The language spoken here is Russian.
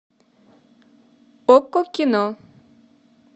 окко кино